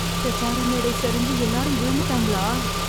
பிரசார மேடை சரிஞ்சு எல்லாரும் விழுந்துட்டாங்களா...